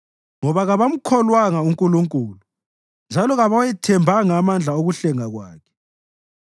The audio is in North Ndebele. ngoba kabamkholwanga uNkulunkulu njalo kabawathembanga amandla okuhlenga kwakhe.